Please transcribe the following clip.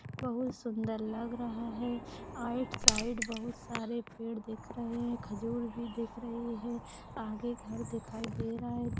बहुत सुंदर लग रहा है। आइट साइड बहुत सारे पेड़ रहे है खजूर भी दिख रही है। आगे घर दिखाई दे रहा है।